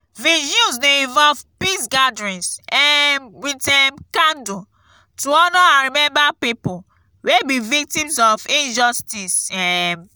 vigils de involve peace gatherings um with um candle to honor and remember pipo wey be victims of injustice um